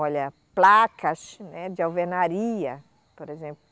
Olha, placas, né de alvenaria, por exemplo.